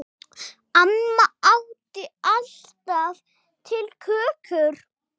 Amma átti alltaf til kökur.